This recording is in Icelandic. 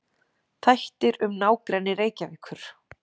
Þættir um nágrenni Reykjavíkur.